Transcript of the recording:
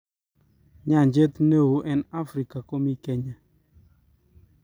Nyanjet ne oo eng Afrika komii kenya